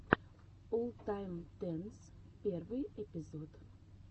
оллтайм тенс первый эпизод